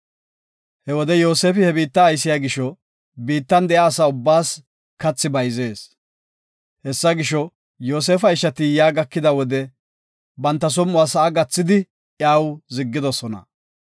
He wode Yoosefi he biitta aysiya gisho biittan de7iya asa ubbaas kathi bayzees. Hessa gisho, Yoosefa ishati yaa gakida wode banta som7uwa sa7a gathidi iyaw ziggidosona.